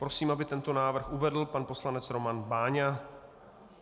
Prosím, aby tento návrh uvedl pan poslanec Roman Váňa.